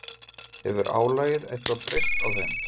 Hefur álagið eitthvað breyst á þeim?